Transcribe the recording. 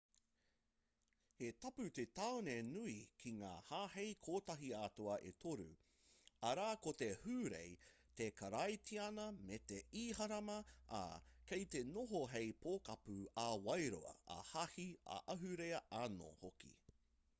he tapu te tāone nui ki ngā hāhei kotahi-atua e toru arā ko te hūrae te karaitiana me te ihirama ā kei te noho hei pokapū ā-wairua ā-hāhi ā-ahurea anō hoki